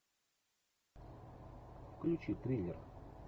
включи триллер